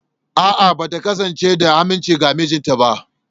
A’a, ba ta kasance da aminci ga mijinta ba.